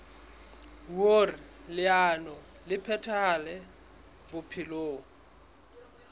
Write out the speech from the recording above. hoer leano le phethahale bophelong